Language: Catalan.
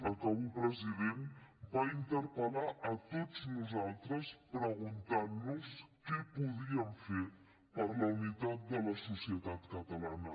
acabo president va interpel·lar a tots nosaltres preguntant nos què podíem fer per la unitat de la societat catalana